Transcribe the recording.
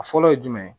A fɔlɔ ye jumɛn ye